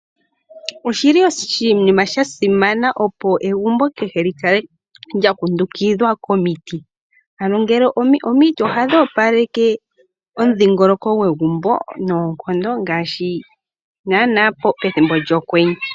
Oshi li oshinima sha simana, opo egumbo kehe li kale lya kundukidhwa komiti. Ano omiti ohadhi opaleke omudhingoloko gwegumbo, ngaashi naana pethimbo lyokwenye.